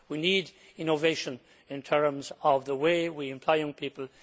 We need innovation in terms of the way we employ young people.